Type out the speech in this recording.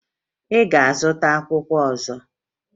Ị ga-azụta akwụkwọ ọzọ?